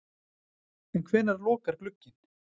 En hvenær lokar glugginn?